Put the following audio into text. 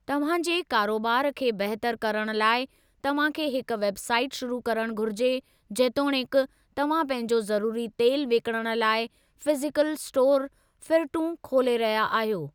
तव्हां जी कारोबार खे बहितरु करण लाइ, तव्हां खे हिक वेब साईट शुरू करणु घुरिजे जेतोणीकि तव्हां पंहिंजो ज़रूरी तेलु विकिणणु लाइ फ़िज़ीकल इस्टोर फ़िरंटू खोले रहिया आहियो।